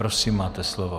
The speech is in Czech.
Prosím, máte slovo.